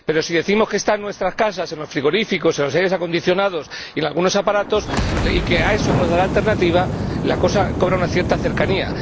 Pero si decimos que están en nuestras casas, en los frigoríficos, en los aires acondicionados y en algunos aparatos, y que a eso hemos de dar alternativa, la cosa cobra una cierta cercanía.